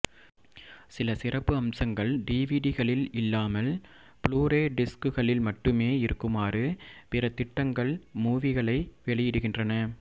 சில சிறப்பு அம்சங்கள் டிவிடிகளில் இல்லாமல் ப்ளூரே டிஸ்குகளில் மட்டுமே இருக்குமாறு பிற திட்டங்கள் மூவிகளை வெளியிடுகின்றன